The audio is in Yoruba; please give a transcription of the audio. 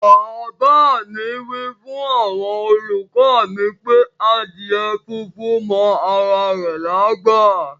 Bab mi wifun awon oluko mi pe adíè fúnfún mọ ara rè lágbá.